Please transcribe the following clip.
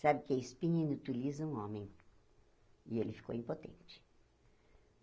Sabe que a espinha inutiliza um homem, e ele ficou impotente.